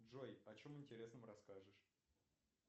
джой о чем интересном расскажешь